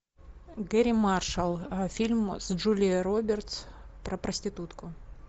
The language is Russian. гэрри маршалл фильм с джулией робертс про проститутку